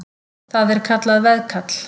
Það er kallað veðkall.